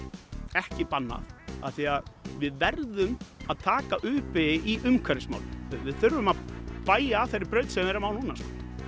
ekki bannað af því að við verðum að taka u beygju í umhverfismálum við þurfum að beygja af þeirri braut sem við erum á núna